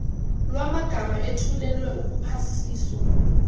lwamagama ethulelwe ukuphasiswa